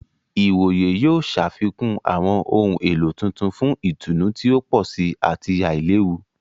Ìwòyè yóò ṣàfikún awọn ohùn èló tuntun fún ìtùnú ti o pọ sí ati ailewu.